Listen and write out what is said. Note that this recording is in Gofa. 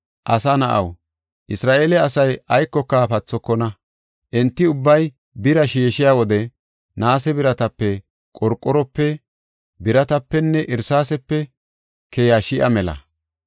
“Asa na7aw, Isra7eele asay aykoka pathokona; enti ubbay bira sheeshiya wode naase biratape, qorqorope, biratapenne irsaasepe keya sha7a mela.